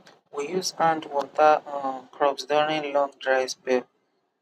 we use hand water um crops during long dry spell